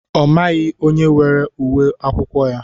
Ọ maghị onye weere ùwé akwụkwọ ya.